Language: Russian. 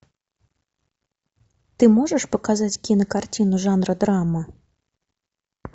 ты можешь показать кинокартину жанра драма